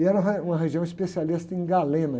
E era re, uma região especialista em galena.